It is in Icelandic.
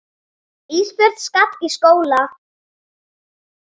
Ísbjörg skal í skóla.